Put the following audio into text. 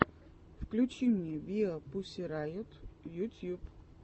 включи мне виапуссирайот ютьюб